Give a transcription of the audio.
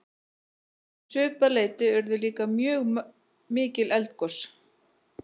um svipað leyti urðu líka mjög mikil eldgos